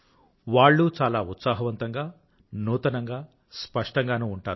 వాళ్ళూ చాలా ఉత్సాహవంతం గా నూతనంగా స్పష్టంగానూ ఉంటారు